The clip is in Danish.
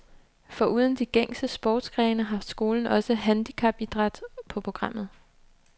Foruden de gængse sportsgrene har skolen også handicapidræt på programmet.